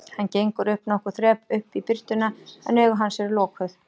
Hann gengur upp nokkur þrep, upp í birtuna, en augu hans eru lokuð.